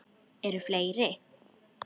Eru fleiri?